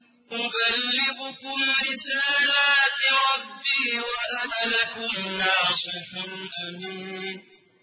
أُبَلِّغُكُمْ رِسَالَاتِ رَبِّي وَأَنَا لَكُمْ نَاصِحٌ أَمِينٌ